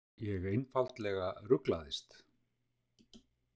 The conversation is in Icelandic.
Ég einfaldlega ruglaðist.